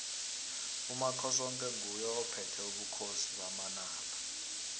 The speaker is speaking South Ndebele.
umakhosoke nguye ophethe ubukhosi bamanala